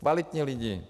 Kvalitní lidi.